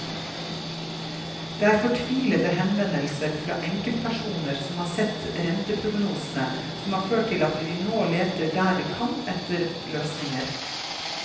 Det er fortvilte henvendelser fra enkeltpersoner som har sett renteprognosene, som har ført til at vi nå leter der vi kan etter løsninger.